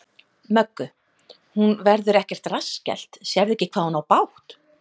Möggu: Hún verður ekkert rassskellt, sérðu ekki hvað hún á bágt?